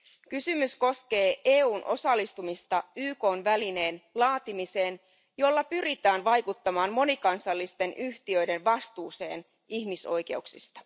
Kysymys koskee EUn osallistumista YKn välineen laatimiseen, jolla pyritään vaikuttamaan monikansallisten yhtiöiden vastuuseen ihmisoikeuksista.